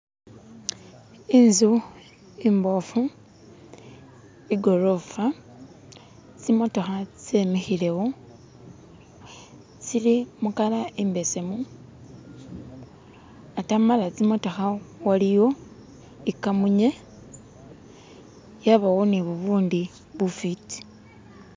inzu imbofu igorofa tsimotoha tsemihile wo tsili mukala imbesemu atamala tsimotoha waliyo ikamunye yabawo nibubundi bufiti